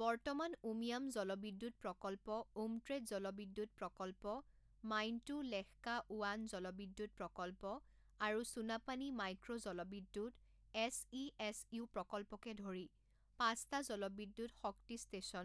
বৰ্তমান উমিয়াম জলবিদ্যুৎ প্ৰকল্প উমট্ৰেউ জলবিদ্যুৎ প্ৰকল্প মাইণ্টু লেশকা ওৱান জলবিদ্যুৎ প্ৰকল্প আৰু সুনাপানী মাইক্ৰ' জলবিদ্যুৎ এছ ই এছ ইউ প্ৰকল্পকে ধৰি পাঁচটা জলবিদ্যুৎ শক্তি ষ্টেচন